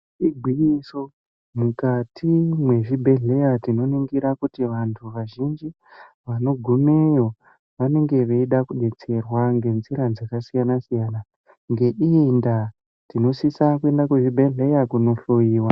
Igwinyiso mukati mwezvibhehleya tinoningira kuti vanhuu vazhinji vanogumeyo vanenge veida kudetserwa ngenzira dzakasiyanasiyana ngeiyindaa tinosisa kuenda kuzvibhehleya kunohloyiwa.